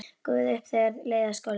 Gufaði upp þegar leið að skólatíma.